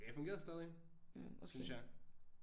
Det fungerede stadig synes jeg